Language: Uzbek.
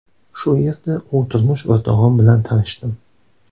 Shu yerda u turmush o‘rtog‘im bilan tanishdim.